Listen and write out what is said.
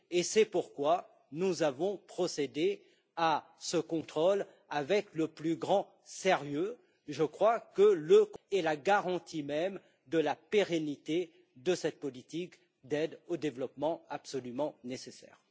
C'est pourquoi nous avons procédé à ce contrôle avec le plus grand sérieux, car je crois qu'il est la garantie même de la pérennité de cette politique d'aide au développement absolument nécessaire.